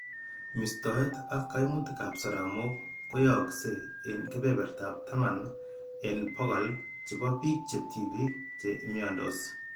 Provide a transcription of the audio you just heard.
Mistoet ak kaimutikab soromok koyaakse eng' kebertab taman eng' bokol chebo bik che tibik che imiandos.